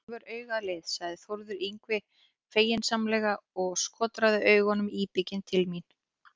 Búist er við því að Börsungar ráði nýjan þjálfara í næstu viku.